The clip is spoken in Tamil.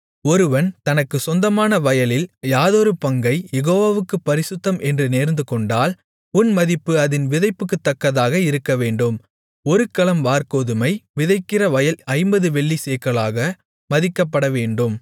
ஒருவன் தனக்குச் சொந்தமான வயலில் யாதொரு பங்கைக் யெகோவாவுக்குப் பரிசுத்தம் என்று நேர்ந்துகொண்டால் உன் மதிப்பு அதின் விதைப்புக்குத்தக்கதாக இருக்கவேண்டும் ஒரு கலம் வாற்கோதுமை விதைக்கிற வயல் ஐம்பது வெள்ளிச் சேக்கலாக மதிக்கப்படவேண்டும்